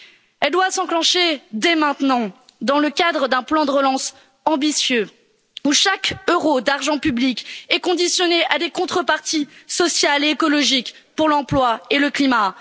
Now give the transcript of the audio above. Elle doit s'enclencher dès maintenant, dans le cadre d'un plan de relance ambitieux où chaque euro d'argent public est conditionné à des contreparties sociales et écologiques pour l'emploi et le climat.